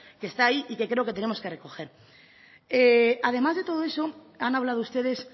que está ahí y que creo que tenemos que recoger además de todo eso han hablado ustedes